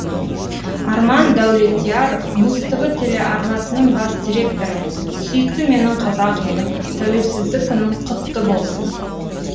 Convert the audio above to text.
арман дәулетияров муз тв телеарнасының бас директоры сүйікті менің қазақ елім тәуелсіздік күнің құтты болсын